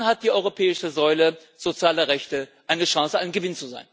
Dann hat die europäische Säule sozialer Rechte eine Chance, ein Gewinn zu sein.